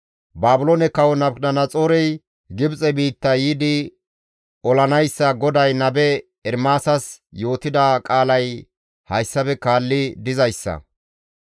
Baabiloone kawo Nabukadanaxoorey Gibxe biitta yiidi olanayssa GODAY nabe Ermaasas yootida qaalay hayssafe kaalli dizayssa;